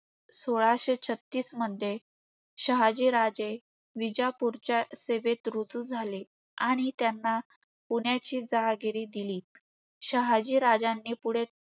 सोळाशे छत्तीसमध्ये शहाजीराजे विजापूरच्या सेवेत रुजू झाले. आणि त्यांना पुण्याची जहागिरी दिली. शहाजीराजांनी पुढे,